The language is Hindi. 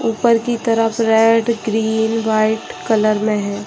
ऊपर की तरफ रेड ग्रीन वाइट कलर में है।